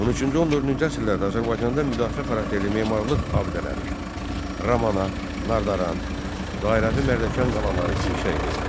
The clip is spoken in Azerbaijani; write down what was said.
13-14-cü əsrlərdə Azərbaycanda müdafiə xarakterli memarlıq abidələri: Ramana, Nardaran, Dairəvi Mərdəkan qalaları inşa edildi.